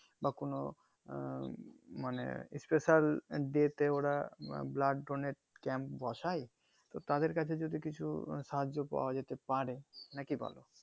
বা কোনো আহ মানে special day তে ওরা ব্লা blood donate camp বসে তো তাদের কাছে যদি কিছু সাহায্য পাওয়া হয়তো পারে নাকি বলো